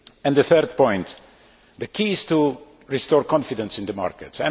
The third point the key is to restore confidence in the markets.